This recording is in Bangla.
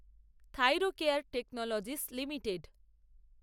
Thyrocare Technologies limited